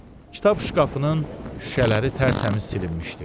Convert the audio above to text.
Kitab şkafının şüşələri tərtəmiz silinmişdi.